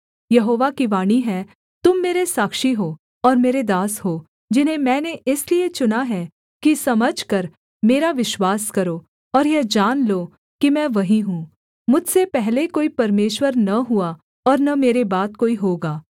यहोवा की वाणी है तुम मेरे साक्षी हो और मेरे दास हो जिन्हें मैंने इसलिए चुना है कि समझकर मेरा विश्वास करो और यह जान लो कि मैं वही हूँ मुझसे पहले कोई परमेश्वर न हुआ और न मेरे बाद कोई होगा